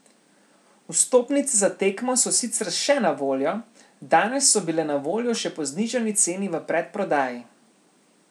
Vstopnice za tekmo so sicer še na voljo, danes so bile na voljo še po znižani ceni v predprodaji.